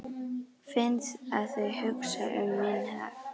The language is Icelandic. Finn að þau hugsa um minn hag.